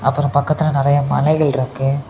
அப்ரோ பக்கத்துல நெறைய மலைகள் இருக்கு.